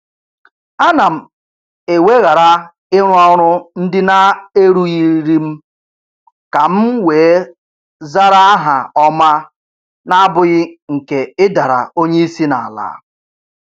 Ana m eweghara ịrụ ọrụ ndị na-erurughị m ka m wee zara aha ọma n'abụghị nke ịdara onye isi n'ala